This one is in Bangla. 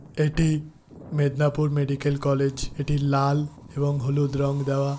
এটি মেদনাপুর মেডিকেল কলেজ এটি লাল এবং হলুদ রং দেওয়া।